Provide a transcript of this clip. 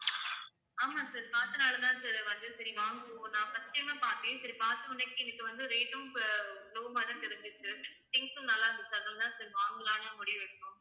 ஆமாம் sir பார்த்ததினால தான் sir வந்து சரி வாங்குவோம் நான் first time ஆ பார்த்தேன் சரி பார்த்த உடனே எனக்கு வந்து rate உம் அஹ் low மாதிரி தான் தெரிஞ்சுச்சு things உம் நல்லா இருந்துச்சு sir அதனால தான் sir வாங்கலாம்னு முடிவெடுத்தோம்